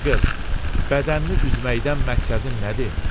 Ay qız, bədənini üzməkdən məqsədin nədir?